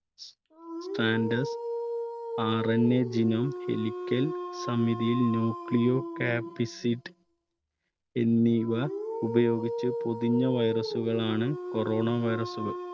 strandedRNA ദിനം helical സമിതിയിൽ nucleo capsid എന്നിവ ഉപയോഗിച്ച് പൊതിഞ്ഞ virus കളാണ് corona virus കൾ.